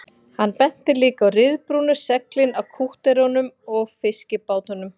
Hann benti líka á ryðbrúnu seglin á kútterunum og fiskibátunum